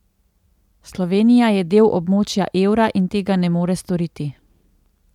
Slovenija je del območja evra in tega ne more storiti.